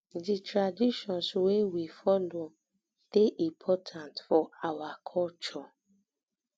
di traditions wey we follow dey important um for our culture